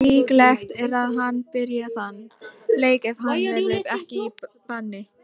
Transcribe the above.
Líklegt er að hann byrji þann leik ef hann verður ekki í banni.